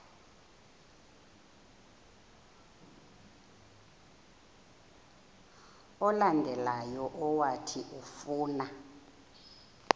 olandelayo owathi ufuna